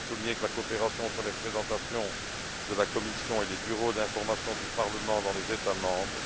Je tiens à souligner que la coopération entre les représentations de la Commission et les bureaux d'information du Parlement dans les États membres